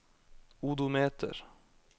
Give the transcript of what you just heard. odometer